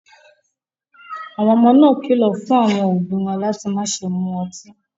Àwọn ọmọ náà kìlọ̀ fún àwọn òbí wọn láti má ṣe mu ọtí.